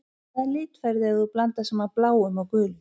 Hvaða lit færðu ef þú blandar saman bláum og gulum?